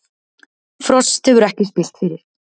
Frost hefur ekki spillt fyrir